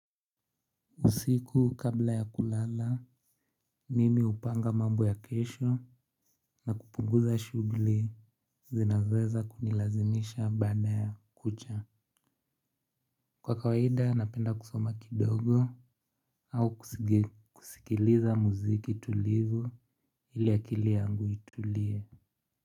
Usiku kabla ya kulala, mimi hupanga mambo ya kesho na kupunguza shughui zinazoweza kunilazimisha baada ya kucha. Kwa kawaida napenda kusoma kidogo au kusikiliza muziki tulivu ili akili yangu itulie.